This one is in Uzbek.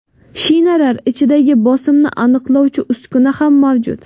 Shinalar ichidagi bosimni aniqlovchi uskuna ham mavjud.